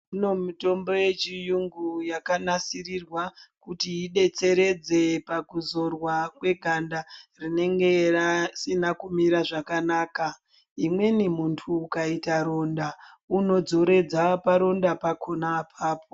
Kuno mutombo yechiyungu yakanasirirwa kuti idetseredze pakuzorwa kweganda rinenge risina kumira zvakanaka. Imweni muntu ukayita ronda unodzoredza paronda pakhona apapo.